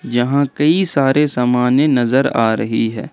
यहां कई सारे सामाने नजर आ रही है।